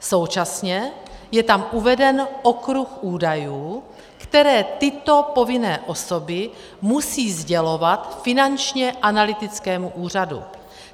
Současně je tam uveden okruh údajů, které tyto povinné osoby musí sdělovat Finančnímu analytickému úřadu.